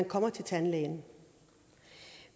kommer til tandlægen